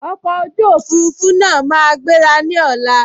Ọkọ̀ ojú òfurufú náà máa gbéra ní ọ̀la